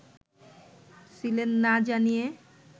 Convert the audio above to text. ছিলেন না জানিয়ে